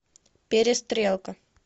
перестрелка